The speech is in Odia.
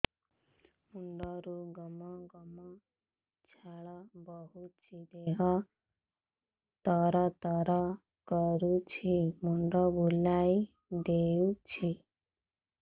ମୁଣ୍ଡରୁ ଗମ ଗମ ଝାଳ ବହୁଛି ଦିହ ତର ତର କରୁଛି ମୁଣ୍ଡ ବୁଲାଇ ଦେଉଛି